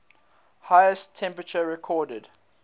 highest temperature recorded